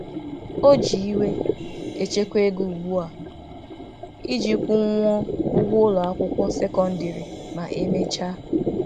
O ji iwe echekwa ego ugbu a iji kwụnwuo ụgwọ ụlọakwụkwọ sekondịrị ma e mechaa.